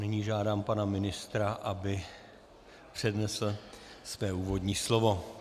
Nyní žádám pana ministra, aby přednesl své úvodní slovo.